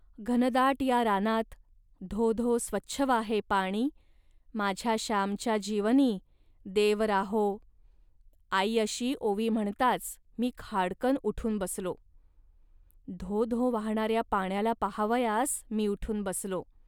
.घनदाट या रानात.धो धो स्वच्छ वाहे पाणी.माझ्या श्यामच्या जीवनी.देव राहो..आई अशी ओवी म्हणताच मी खाडकन उठून बसलो. धो धो वाहणाऱ्या पाण्याला पाहावयास मी उठून बसलो